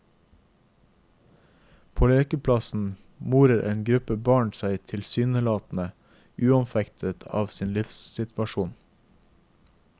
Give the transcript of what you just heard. På lekeplassen morer en gruppe barn seg tilsynelatende uanfektet av sin livssituasjon.